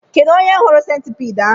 Kedụ onye hụrụ sentipiid ahụ?